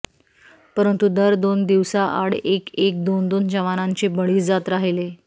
परंतु दर दोन दिवसाआड एक एक दोन दोन जवानांचे बळी जात राहिले